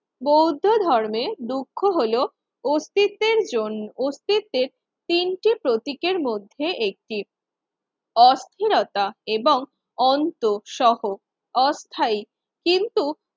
বৌদ্ধ ধর্মের দুঃখ হলো অস্তিত্বের জন্য অস্তিত্বের তিনটি প্রতীকের মধ্যে একটি অস্থিরতা এবং অন্তসহ অস্থায়ী কিন্তু